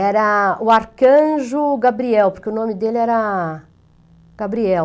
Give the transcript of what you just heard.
Era o Arcanjo Gabriel, porque o nome dele era Gabriel.